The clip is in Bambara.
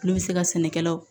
Olu bɛ se ka sɛnɛkɛlaw